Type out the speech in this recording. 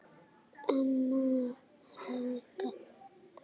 Amma Helga.